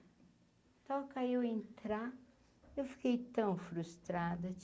entrar, eu fiquei tão frustrada.